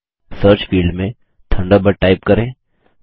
search field में Thunderbird type करें